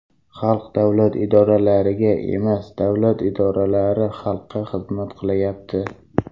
Xalq davlat idoralariga emas, davlat idoralari xalqqa xizmat qilyapti.